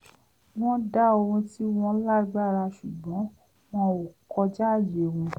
wọ́n dá ohun tí wọ́n lágbára sùgbọ́n wọn ò kọjáàyè wọn